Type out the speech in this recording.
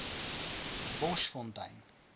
boschfontein